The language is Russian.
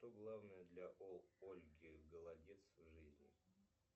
что главное для ольки голодец в жизни